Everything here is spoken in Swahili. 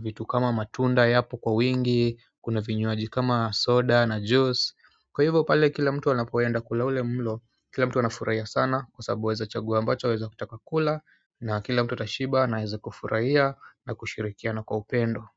vitu kama matunda yapo kwa wingi, kuna vinywaji kama soda na juice kwa hivyo pale kila mtu anapoenda kula ule mlo, kila mtu wanafurahia sana kwa sababu waweza chagua ambacho waweza kutaka kula na kila mtu atashiba na aweze kufurahia na ashirikiana kwa upendo.